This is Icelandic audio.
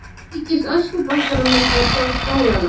Líkist öskubakkanum milli stólanna.